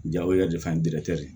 Ja o yɛrɛ de fɛn